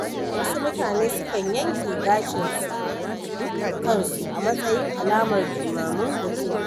Wasu mutane sukan yanke gashin kansu a matsayin alamar jimamin mutuwa.